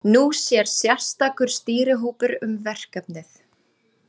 Nú sér sérstakur stýrihópur um verkefnið.